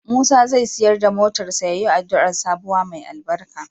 Musa zai siyar da motarsa ​​yayi addu'ar sabuwa mai albarka.